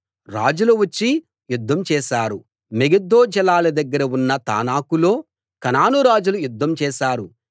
రాజులు వచ్చి యుద్ధం చేశారు మెగిద్దో జలాల దగ్గర ఉన్న తానాకులో కనాను రాజులు యుద్ధం చేశారు